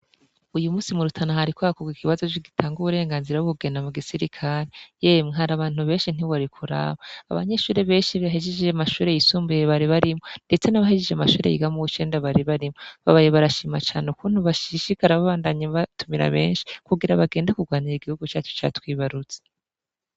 Uyu munsi mu Rutana hariko hakorwa ikibazo gitanga uburenganzira bwo kugenda mu gisirikare, yemwe hari abantu benshi ntiwari kuraba, abanyeshure benshi bahejeje amashure y'isumbuye bari barimwo, ndetse nabahejeje amashure biga muw'icenda bari barimwo, bamye barashima cane kuntu bashishikara babandanya batumira benshi, kugira bagende kurwanira igihugu cacu catwibarutse.